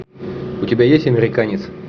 у тебя есть американец